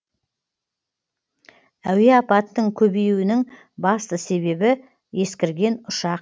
әуе апатының көбеюінің басты себебі ескірген ұшақ